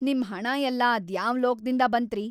ನಿಮ್ ಹಣ ಎಲ್ಲ ಅದ್ಯಾವ್‌ ಲೋಕ್‌ದಿಂದ ಬಂತ್ರೀ?!